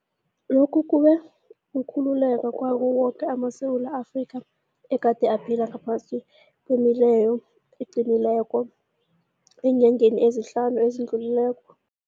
Lokhu kube kukhululeka kwawo woke amaSewula Afrika egade aphila ngaphasi kwemileyo eqinileko eenyangeni ezihlanu ezidlulileko.